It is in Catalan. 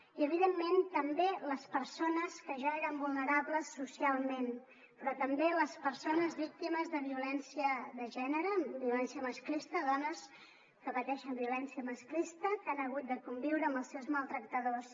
i evidentment també les persones que ja eren vulnerables socialment però també les persones víctimes de violència de gènere violència masclista dones que pateixen violència masclista que han hagut de conviure amb els seus maltractadors